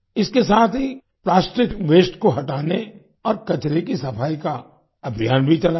इसके साथ ही प्लास्टिक वास्ते को हटाने और कचरे की सफाई का अभियान भी चलाया गया